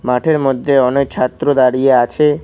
মাঠের মধ্যে অনেক ছাত্র দাঁড়িয়ে আছে।